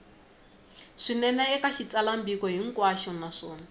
swinene eka xitsalwambiko hinkwaxo naswona